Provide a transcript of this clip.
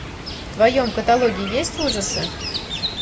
в твоем каталоге есть ужасы